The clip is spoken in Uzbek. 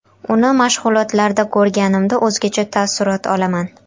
Uni mashg‘ulotlarda ko‘rganimda o‘zgacha taassurot olaman.